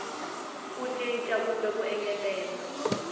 ku cinca kumbe ku engetela